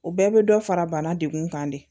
O bɛɛ bɛ dɔ fara bana degun kan de